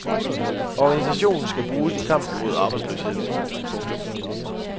Organisationen skal bruges i kampen mod arbejdsløsheden. punktum